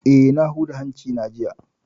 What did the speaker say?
Eh, na huda hanci na jiya